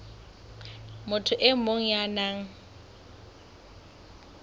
motho e mong ya nang